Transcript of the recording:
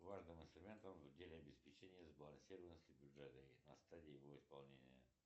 важным инструментом в деле обеспечения сбалансированности бюджета и на стадии его исполнения